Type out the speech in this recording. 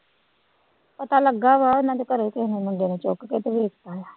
ਪਤਾ ਲੱਗਾ ਵਾ ਉਹਨਾਂ ਦੇ ਘਰੇ ਕਿਸੇ ਨੇ ਮੁੰਡੇ ਨੇ ਚੁੱਕ ਕੇ ਤੇ ਵੇਚ ਤਾ ਵਾ।